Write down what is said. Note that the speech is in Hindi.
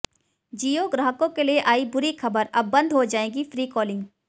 जियो ग्राहकों के लिए आई बुरी खबर अब बंद हो जाएगी फ्री कॉलिंग